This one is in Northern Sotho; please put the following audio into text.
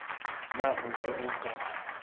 na o be o ka